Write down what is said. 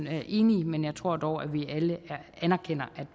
er helt enige men jeg tror dog at vi alle anerkender